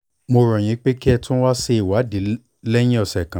mo rọ̀ yín pé kẹ́ ẹ tún ṣe ìwádìí náà lẹ́yìn ọ̀sẹ̀ kan